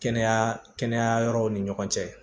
Kɛnɛya kɛnɛya yɔrɔw ni ɲɔgɔn cɛ